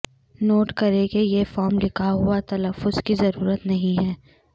note کریں کہ یہ فارم لکھا ہوا تلفظ کی ضرورت نہیں ہے